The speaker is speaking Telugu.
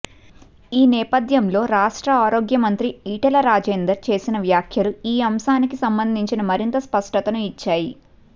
ఈ నేపథ్యంలో రాష్ట్ర ఆరోగ్య మంత్రి ఈటల రాజేందర్ చేసిన వ్యాఖ్యలు ఈ అంశానికి సంబంధించి మరింత స్పష్టతను ఇచ్చాయి